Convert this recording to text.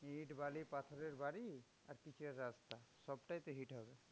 ইট বালি পাথরের বাড়ি আর পিচের রাস্তা, সবটাই তো heat হবে।